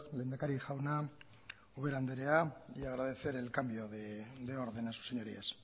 lehendakari jauna ubera andrea y agradecer el cambio de orden a sus señorías